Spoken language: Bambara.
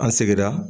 An seginna